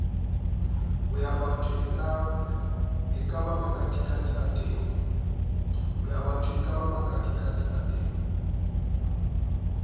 boyabatho eka makatikati o tena